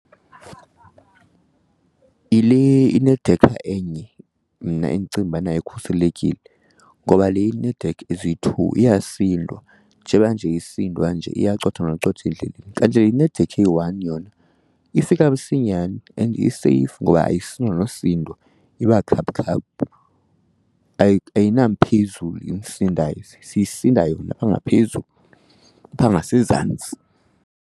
Yile inedekha enye mna endicinga ubana ikhuselekile ngoba le ineedekha eziyi-two iyasindwa, njeba nje isindwa nje iyacotha nokucotha endleleni. Kanti le inedekha eyi-one yona ifika msinyane and iseyifu ngoba ayisindwa nosindwa, iba khaphukhaphu ayinamphezulu imsindayo, siyisinda yona phaa ngaphezulu, phaa ngasezantsi.